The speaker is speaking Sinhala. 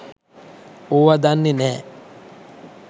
ඕව දන්නෙ නැහැ.